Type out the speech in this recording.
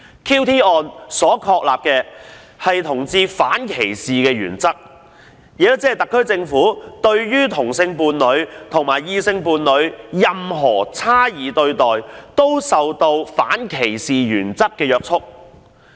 QT 案確立了反歧視同志的原則，特區政府對同性伴侶和異性伴侶的差異對待均受反歧視原則約束。